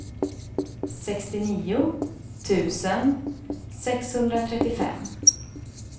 sextionio tusen sexhundratrettiofem